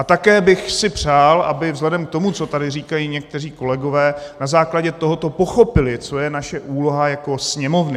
A také bych si přál, aby vzhledem k tomu, co tady říkají někteří kolegové, na základě tohoto pochopili, co je naše úloha jako Sněmovny.